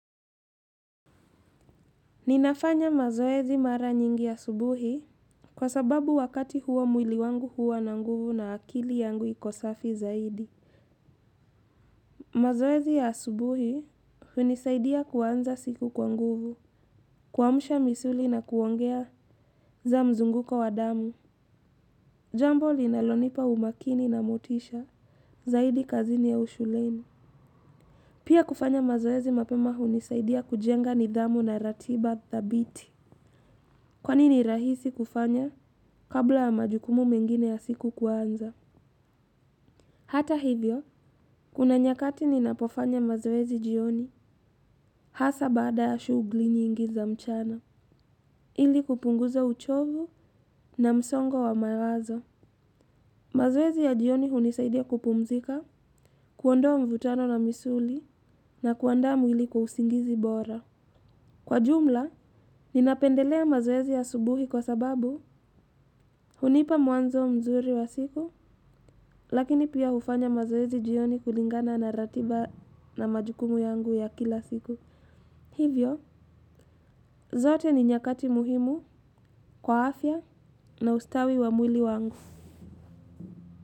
Ninafanya mazoezi mara nyingi asubuhi kwa sababu wakati huo mwili wangu huwa na nguvu na akili yangu iko safi zaidi. Mazoezi ya asubuhi hunisaidia kuanza siku kwa nguvu, kuamusha misuli na kuongeza mzunguko wa damu. Jambo linalonipa umakini na motisha zaidi kazini au ushuleni. Pia kufanya mazoezi mapema hunisaidia kujenga nidhamu na ratiba dhabiti. Kwani ni rahisi kufanya kabla ya majukumu mengine ya siku kuanza? Hata hivyo, kuna nyakati ninapofanya mazoezi jioni hasa bada ya shughuli nyingi za mchana, ili kupunguza uchovu na msongo wa mawazo. Mazoezi ya jioni hunisaidia kupumzika, kuondoa mvutano na misuli na kuanda mwili kwa usingizi bora. Kwa jumla, ninapendelea mazoezi ya asubuhi kwa sababu, hunipa mwanzo mzuri wa siku, lakini pia hufanya mazoezi jioni kulingana na ratiba na majukumu yangu ya kila siku. Hivyo, zote ni nyakati muhimu kwa afya na ustawi wa mwili wangu.